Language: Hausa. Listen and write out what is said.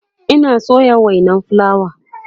Ina soya wainan fulawa